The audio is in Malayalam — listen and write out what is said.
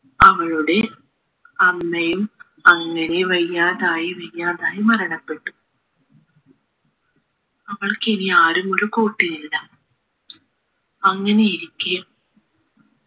അവളുടെ അമ്മയും അങ്ങനെ വയ്യാതായി വയ്യാതായി മരണപ്പെട്ടു അവൾക്കിനി ആരും ഒരു കൂട്ടിനില്ല അങ്ങനെയിരിക്കെ